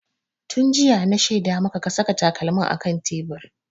Tun jiya na shaida maka ka saka takalmin a kan tebur!